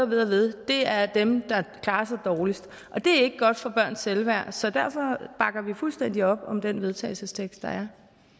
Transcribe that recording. ved ved er dem der klarer sig dårligst det er ikke godt for børns selvværd så derfor bakker vi fuldstændig op om den vedtagelsestekst der